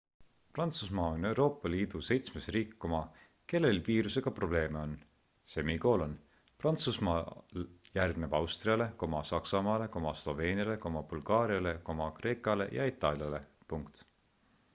prantsusmaa on euroopa liidu seitsmes riik kellel viirusega probleeme on prantsusmaa järgneb austriale saksamaale sloveeniale bulgaariale kreekale ja itaaliale